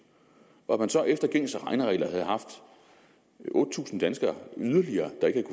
og at man så efter gængse regneregler havde haft otte tusind danskere yderligere der ikke